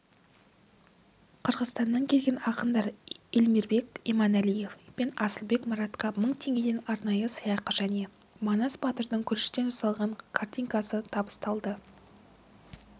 қырғызстаннан келген ақындар элмирбек иманәлиев пен асылбек маратқа мың теңгеден арнайы сыйақы және манас батырдың күріштен жасалған картинасы табысталды